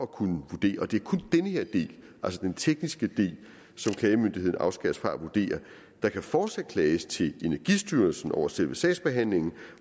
kunne vurdere og det er kun den her del altså den tekniske del som klagemyndigheden afskæres fra at vurdere der kan fortsat klages til energistyrelsen over selve sagsbehandlingen